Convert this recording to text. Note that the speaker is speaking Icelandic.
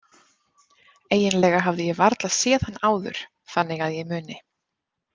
Eiginlega hafði ég varla séð hann áður þannig að ég muni.